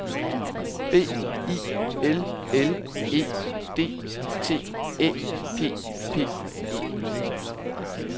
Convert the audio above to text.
B I L L E D T Æ P P E